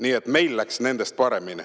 Nii et meil läks nendest paremini.